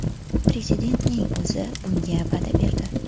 Prezidentning o‘zi bunga va’da berdi.